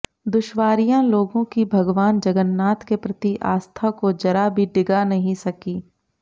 दुश्वारियां लोगों की भागवान जगन्नाथ के प्रति आस्था को जरा भी डिगा नहीं सकी